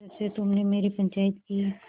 जब से तुमने मेरी पंचायत की